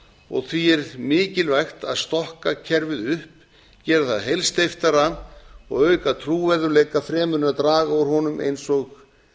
og því er mikilvægt að stokka kerfið upp gera það heilsteyptara og auka trúverðugleika fremur en draga úr honum eins og